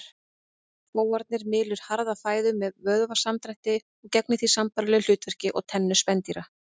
Fóarnið mylur harða fæðu með vöðvasamdrætti og gegnir því sambærilegu hlutverki og tennur spendýra.